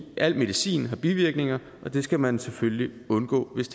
al medicin har bivirkninger og dem skal man selvfølgelig undgå hvis